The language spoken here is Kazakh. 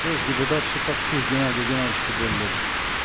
сөз депутат шиповских геннадий геннадьевичке беріледі